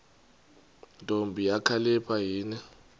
ntombi kakhalipha yini